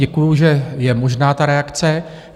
Děkuji, že je možná ta reakce.